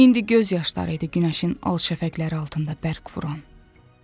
İndi göz yaşları idi günəşin al şəfəqləri altında bərq vuran.